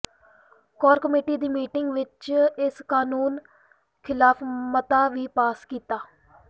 core committee ਦੀ meeting ਵਿੱਚ ਇਸ ਕਾਨੂੰਨ ਖ਼ਿਲਾਫ਼ ਮਤਾ ਵੀ ਪਾਸ ਕੀਤਾ